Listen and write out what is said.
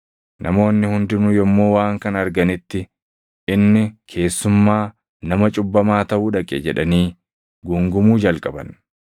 Namoonni hundinuu yommuu waan kana arganitti, “Inni keessummaa ‘Nama cubbamaa’ taʼuu dhaqe!” jedhanii guungumuu jalqaban.